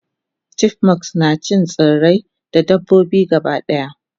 chipmunks nacin tsirrai da dabbobi gabadaya